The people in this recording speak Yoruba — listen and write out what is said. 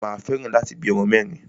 Mà a fẹ́ràn láti bí ọmọ mẹ́rin.